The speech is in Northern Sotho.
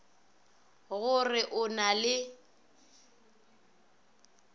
go re o na le